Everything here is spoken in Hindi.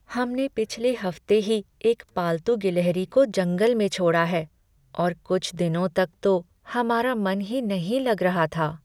हमने पिछले हफ्ते ही एक पालतू गिलहरी को जंगल में छोड़ा है और कुछ दिनों तक तो हमारा मन ही नहीं लग रहा था।